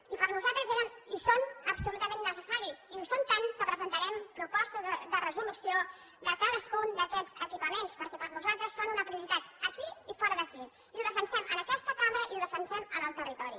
i per nosaltres eren i són absolutament necessaris i ho són tant que presentarem propostes de resolució de cadascun d’aquests equipaments perquè per nosaltres són una prioritat aquí i fora d’aquí i ho defensem en aquesta cambra i ho defensem en el territori